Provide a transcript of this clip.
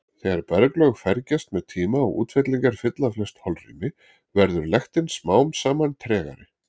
Þegar berglög fergjast með tíma og útfellingar fylla flest holrými verður lektin smám saman tregari.